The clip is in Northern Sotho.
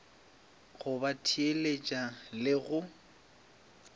go ba theeletša le go